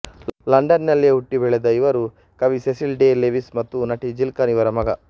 ಲಂಡನ್ನಿನಲ್ಲಿಯೇ ಹುಟ್ಟಿ ಬೆಳೆದ ಇವರು ಕವಿ ಸೆಸಿಲ್ ಡೇ ಲೆವಿಸ್ ಮತ್ತು ನಟಿ ಜಿಲ್ಕನ್ ಇವರ ಮಗ